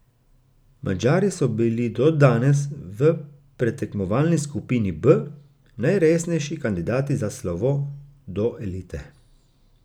Madžari so bili do danes v predtekmovalni skupini B najresnejši kandidati za slovo do elite.